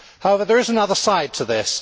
However, there is another side to this.